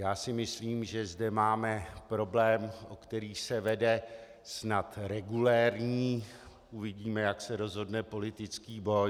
Já si myslím, že zde máme problém, o kterém se vede snad regulérní, uvidíme, jak se rozhodne, politický boj.